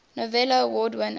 novello award winners